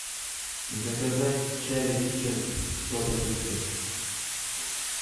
заказать чай ричард сто пакетиков